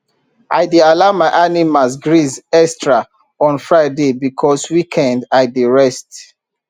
i dey allow my animals graze extra on friday because weekend i dey rest